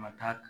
Ma taa